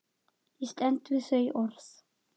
Ég stend við þau orð.